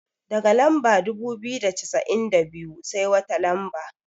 Daga lamba dubu biyu da cassa'in da biyu, sai wata lamba?